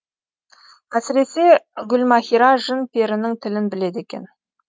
әсіресе гүлмаһира жын перінің тілін біледі екен